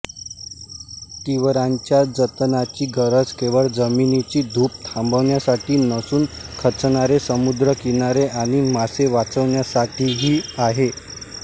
तिवरांच्या जतनाची गरज केवळ जमिनीची धूप थांबवण्यासाठी नसून खचणारे समुद्रकिनारे आणि मासे वाचवण्यासाठीही आहे